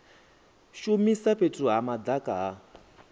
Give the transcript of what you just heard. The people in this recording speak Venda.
shumisa fhethu ha madaka ha